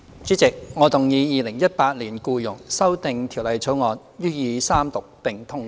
主席，我動議《2018年僱傭條例草案》予以三讀並通過。